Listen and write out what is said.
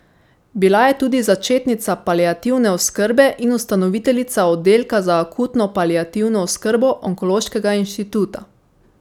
Bila je tudi začetnica paliativne oskrbe in ustanoviteljica oddelka za akutno paliativno oskrbo onkološkega inštituta.